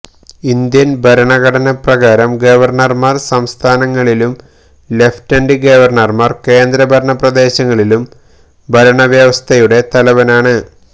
Indian ഭരണഘടനപ്രകാരം ഗവർണർമാർ സംസ്ഥാനങ്ങളിലും ലഫ്റ്റനന്റ് ഗവർണർമാർ കേന്ദ്രഭരണപ്രദേശങ്ങളിലും ഭരണവ്യവസ്ഥയുടെ തലവനാണ്